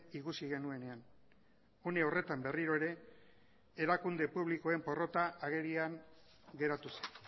ikusi genuenean une horretan berriro ere erakunde publikoen porrota agerian geratu zen